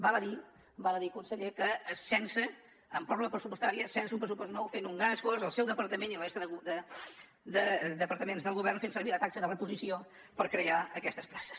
val a dir conseller que amb pròrroga pressupostària sense un pressupost nou fent un gran esforç el seu departament i la resta de departaments del govern fent servir la taxa de reposició per crear aquestes places